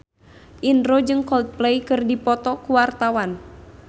Indro jeung Coldplay keur dipoto ku wartawan